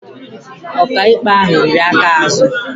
Ọkaikpe ahụ riri aka azụ